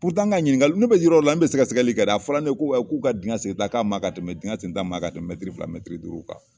n ka ɲininkali ne bɛ yɔrɔ yɔrɔ la ne bɛ sɛgɛsɛgɛli kɛ dɛ. A fɔra ne ko k'u ka digɛn segin ta k'a man kan ka tɛmɛ digɛn sen ta man ka tɛmɛ mɛtiri fila, mɛtiri duuru kan.